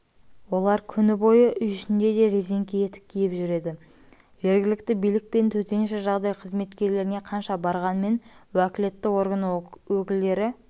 олар күні бойы үй ішінде де резеңке етік киіп жүреді жергілікті билік пен төтенше жағдай қызметкерлеріне қанша барғанымен уәкілетті орган өкілдері